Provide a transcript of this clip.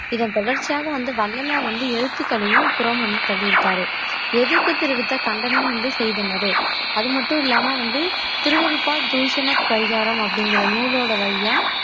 இதன் தொடர்ச்சியாக வந்து வள்ளலார் வந்து எழுத்துக்களையும் புறம் வந்து தள்ளியிருக்காரு எதிர்ப்பு தெரிவித்த கண்டனம் வந்து செய்தனரே அது மட்டும் இல்லாம வந்து திருவருட்பா தூஷன பரிகாரம் அப்படிங்கற நூலோட வழியா